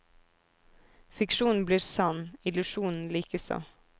Fiksjonen blir sann, illusjonen likeså.